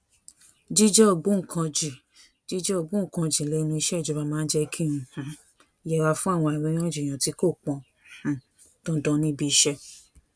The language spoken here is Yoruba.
jíjé ògbóǹkangi jíjé ògbóǹkangi lénu iṣé ìjọba máa ń jé kí n um yẹra fún àríyànjiyàn tí kò pọn um dandan níbi iṣé